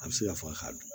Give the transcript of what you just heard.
A bɛ se ka fɔ a ka dun